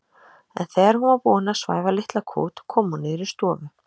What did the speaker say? En þegar hún var búin að svæfa litla kút kom hún niður í stofu.